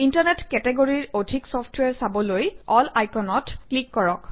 internet কেটেগৰীৰ অধিক software চাবলৈ এল আইকনত ক্লিক কৰক